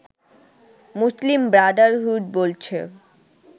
মুসলিম Brotherhood বলছে